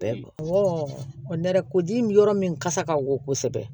nɛrɛ ko ji min yɔrɔ min kasa ka go kosɛbɛ